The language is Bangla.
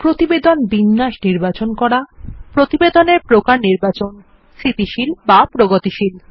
প্রতিবেদন এর বিন্যাসনির্বাচন করা প্রতিবেদনের প্রকার নির্বাচন স্থিতিশীলবা প্রগতিশীল